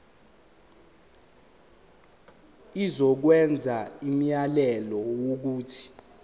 izokwenza umyalelo wokuthi